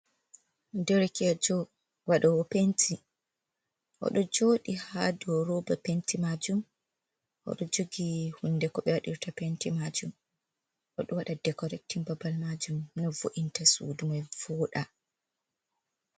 Derkejo waɗowo penti oɗo joɗi ha dow roba penti majum, oɗo jogi hunde ko be waɗirta penti majum, oɗo wada dekorektin babal majum no vo’inta sudu man voɗa.